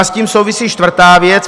A s tím souvisí čtvrtá věc.